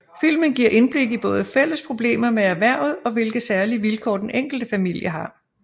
Filmen giver indblik i både fælles problemer med erhvervet og hvilke særlige vilkår den enkelte familie har